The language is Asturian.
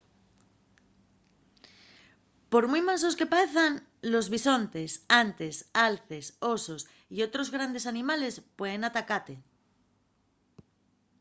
por mui mansos que paezan los bisontes antes alces osos y otros grandes animales pueden atacate